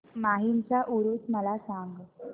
माहीमचा ऊरुस मला सांग